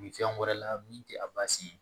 fɛn wɛrɛ la min tɛ a basi ye